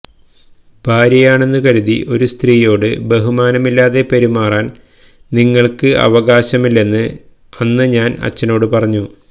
ഭാര്യയാണെന്ന് കരുതി ഒരു സ്ത്രീയോട് ബഹുമാനമില്ലാതെ പെരുമാറാൻ നിങ്ങൾക്ക് അവകാശമില്ലെന്ന് അന്ന് ഞാൻ അച്ഛനോട് പറഞ്ഞു